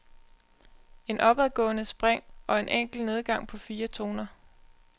Et opadgående spring og en enkel nedgang på fire toner.